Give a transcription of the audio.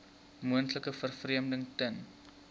moontlike vervreemding ten